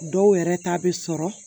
Dɔw yɛrɛ ta bɛ sɔrɔ